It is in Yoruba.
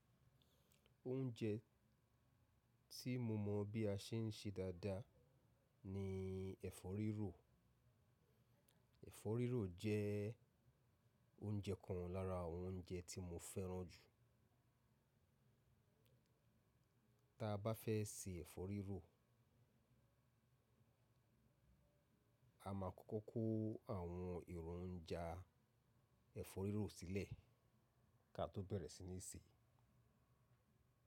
Oúnjẹ tí mo mọ bí a ṣe ń ṣe dáadáa ni ẹ̀fọ́ rírò. Ẹ̀fọ́ rírò jẹ́ oúnjẹ kan lára àwọn oúnjẹ tí mo fẹ́ràn jù. Tí a bá fẹ́ sè ẹ̀fọ́ rírò, a máa kọ́kọ́ kó àwọn èròjà ẹ̀fọ́ rírò sílẹ̀ kí a tó bẹ̀rẹ̀ sí ní sèé.